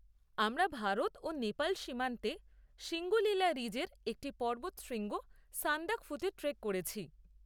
আমরা ভারত ও নেপাল সীমান্তে সিঙ্গলিলা রিজের একটি পর্বত শৃঙ্গ সান্দাকফুতে ট্রেক করেছি।